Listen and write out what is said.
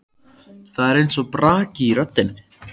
Það er eins og braki í röddinni.